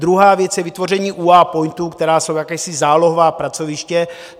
Druhá věc je vytvoření UA POINTů, které jsou jakási zálohová pracoviště.